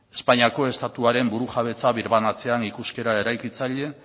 espainiako estatuaren burujabetza birbanatzean ikuskera eraikitzaile